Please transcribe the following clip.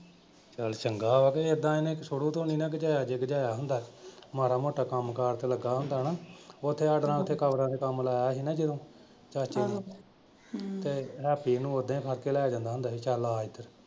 ਚੱਲ ਚੰਗਾ ਹੋਇਆ ਇਹ ਤਾਂ ਇਹਨੇ ਸ਼ੁਰੂ ਤੋਂ ਨਈਂ ਨਾ ਗਿਝਾਇਆ ਜੇ ਗਿਝਾਇਆ ਹੁੰਦਾ ਮਾੜਾ ਮੋਟਾ ਕੰਮ ਕਾਰ ਤੇ ਲੱਗਾ ਹੁੰਦਾ ਨਾ। ਉੱਥੇ ਆਣ ਕੇ ਕਬਰਾਂ ਤੇ ਕੰਮ ਲਾਇਆ ਸੀ ਨਾ ਜਦੋਂ ਚਾਚੇ ਨੇ ਤੇ ਹੈਪੀ ਨੂੰ ਓਦਾਂ ਈ ਫੜ ਕੇ ਲੈ ਜਾਂਦਾ ਸੀ ਚੱਲ ਆ ਇਧਰ।